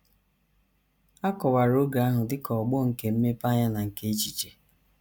A kọwara oge ahụ dị ka ọgbọ nke mmepeanya na nke echiche..